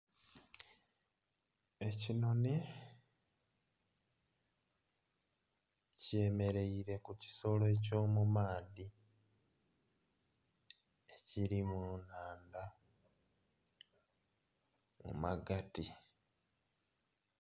Ekinhonhi kyemereire kukisolo ekyo mumaadhi ekiri mu nnhandha mumagati.